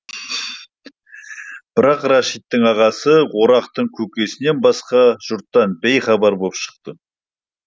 бірақ рәшиттің ағасы орақтың көкесінен басқа жұрттан бейхабар боп шықты